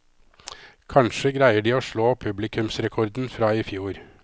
Kanskje greier de å slå publikumsrekorden fra i fjor.